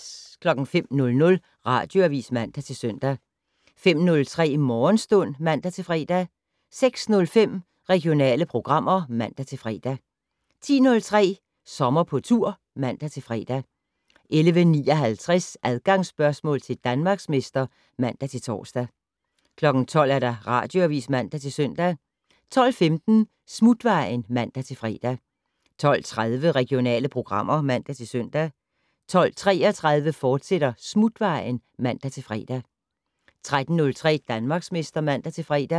05:00: Radioavis (man-søn) 05:03: Morgenstund (man-fre) 06:05: Regionale programmer (man-fre) 10:03: Sommer på tur (man-fre) 11:59: Adgangsspørgsmål til Danmarksmester (man-tor) 12:00: Radioavis (man-søn) 12:15: Smutvejen (man-fre) 12:30: Regionale programmer (man-søn) 12:33: Smutvejen, fortsat (man-fre) 13:03: Danmarksmester (man-fre)